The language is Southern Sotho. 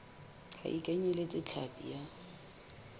ha e kenyeletse hlapi ya